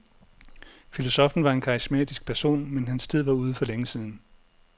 Filosoffen var en karismatisk person, men hans tid var ude for længe siden.